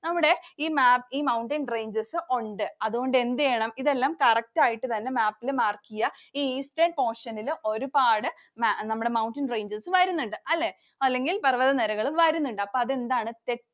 നമ്മുടെ ഈ map ൽ Mountain ranges ഉണ്ട്. അതുകൊണ്ട് എന്ത് ചെയ്യണം? ഇതെല്ലാം correct ആയിട്ട് തന്നെ map ൽ mark ചെയ്യ. ഈ Eastern portion ൽ ഒരുപാട് നമ്മുടെ Mountain ranges വരുന്നുണ്ട് അല്ലെ? അല്ലെങ്കിൽ പർവ്വതനിരകൾ വരുന്നുണ്ട്. അപ്പൊ അതെന്താണ്? Set